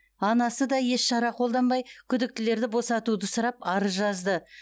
анасы да еш шара қолданбай күдіктілерді босатуды сұрап арыз жазды